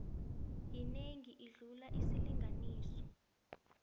yinengi ukudlula isilinganiso